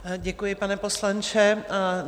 Děkuji, pane poslanče.